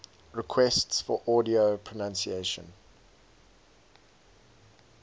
requests for audio pronunciation